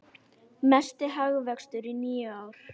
Mesti hagvöxtur í níu ár